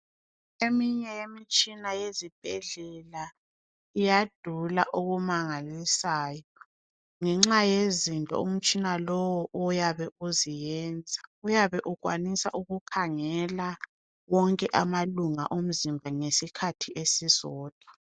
Eminye yemitshina yezibhedlela iyadula okumangalisayo ngenxa yezinto umtshina lo oyabe uziyenza uyabe ukwanisa ukukhangela zonke izitho zomzimba ngesikhathi esisodwa